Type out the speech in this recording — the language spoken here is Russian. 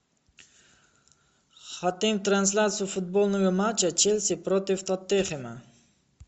хотим трансляцию футбольного матча челси против тоттенхэма